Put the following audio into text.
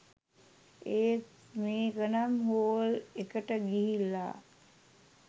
ඒත් මේකනම් හෝල් එකට ගිහිල්ලා